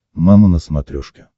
мама на смотрешке